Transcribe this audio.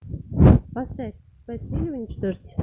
поставь спасти или уничтожить